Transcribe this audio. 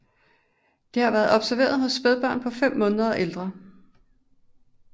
Det har været observeret hos spædbørn på fem måneder og ældre